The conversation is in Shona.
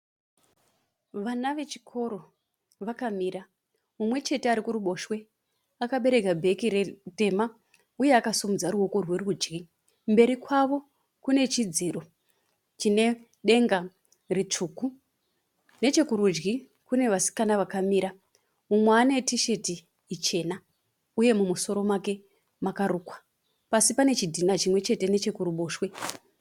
Vana vechikoro vakamira, munwechete arikuruboshwe akabereka bheke ritema uye akadimudza ruoko rwerudyi. Mberi kwavo kunechidziro chinedenge ritsvuku. Nechekurudyi kune vasikana vakamira mumwe ane tisheti chena uye mumusoro make makarukwa. Pasi pane chidhina chimwechete nechekuruboshwe.